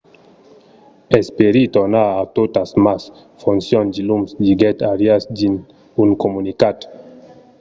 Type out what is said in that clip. espèri tornar a totas mas foncions diluns, diguèt arias dins un comunicat